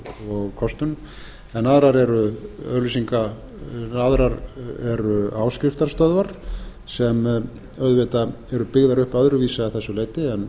og kostun en aðrar eru tekjur sínar eingöngu að nánast eingöngu á auglýsingum og kostun en aðrar eru áskriftarstöðvar sem auðvitað eru byggðar upp öðruvísi að þessu